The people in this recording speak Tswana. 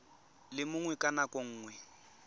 le mongwe ka nako nngwe